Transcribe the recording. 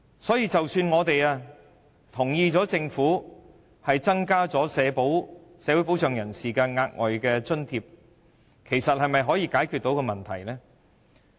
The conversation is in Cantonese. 所以，即使我們同意政府增加領取社會保障人士的額外津貼，其實是否可以解決問題呢？